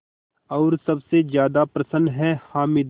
और सबसे ज़्यादा प्रसन्न है हामिद